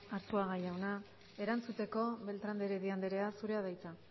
arzuaga jauna erantzuteko beltrán de heredia andrea zurea da hitza